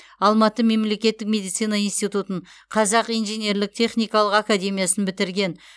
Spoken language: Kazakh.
алматы мемлекеттік медицина институтын қазақ инженерлік техникалық академиясын бітірген